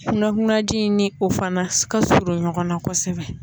Kunnakunnaji ni o fana ka surun ɲɔgɔn na kosɛbɛ.